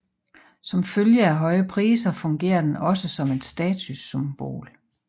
Som følge af høje priser fungerer den også som et statussymbol